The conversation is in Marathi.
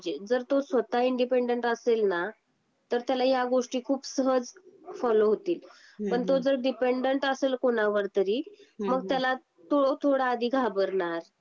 जर तू स्वत: इंडिपेंडंट असेल ना असेल ना तर त्याला या गोष्टी खूप खूप सहज फोलो होतील पण तो जर डिपेंडंट असेल कोणावर तरी मग त्याला तो थोडा आधी घाबरणार.